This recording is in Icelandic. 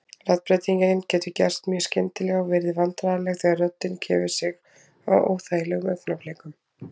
Raddbreytingin getur gerst mjög skyndilega og verið vandræðaleg þegar röddin gefur sig á óþægilegum augnablikum.